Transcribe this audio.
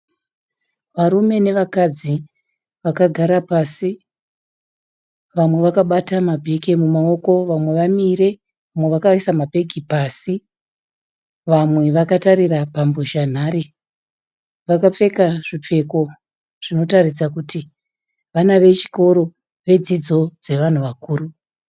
Varume nevakadzi vakagara pasi. Vamwe vakabata mabheke mumaoko vamwe vamire vamwe vakaisa mabhegi pasi vamwe vakatarira pambozhanhare. Vakapfeka zvipfeko zvinotaridza kuti vana vechikoro vedzidzo dzevanhu vakuru.